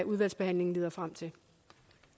udvalgsbehandlingen leder frem til